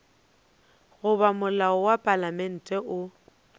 goba molao wa palamente o